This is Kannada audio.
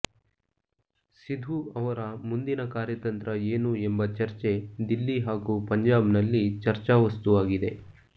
ಸಿಧು ಅವರ ಮುಂದಿನ ಕಾರ್ಯತಂತ್ರ ಏನು ಎಂಬ ಚರ್ಚೆ ದಿಲ್ಲಿ ಹಾಗೂ ಪಂಜಾಬ್ನಲ್ಲಿ ಚರ್ಚಾವಸ್ತುವಾಗಿದೆ